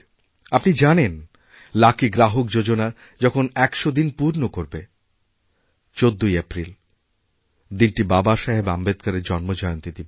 আপনি জানেন লাকি গ্রাহক যোজনা যখন একশদিন পূর্ণ করবে ১৪ই এপ্রিল দিনটি বাবাসাহেব আম্বেদকরের জন্মজয়ন্তী দিবস